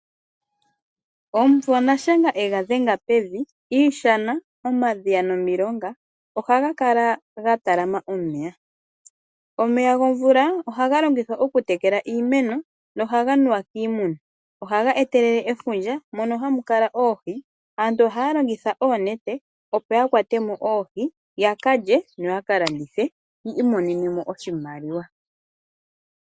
Omumvo nashenga yega dhenga pevi Iishana ,omadhiya nomilonga ohaga kala ga talama omeya . Omeya gomvula ohaga longithwa okutekelwa iimeno nohaga nuwa kiimuna . Ohaga etelele efundja mono hamu kala oohi. Aantu ohaya longitha oonete opo yakwatemo oohi ,yakalye yo yaka landithe yi imonenemo oshimaliwa.